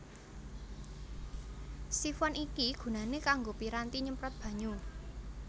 Sifon iki gunané kanggo piranti nyemprot banyu